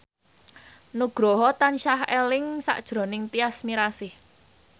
Nugroho tansah eling sakjroning Tyas Mirasih